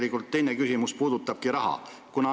Minu teine küsimus puudutabki raha.